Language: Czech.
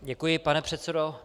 Děkuji, pane předsedo.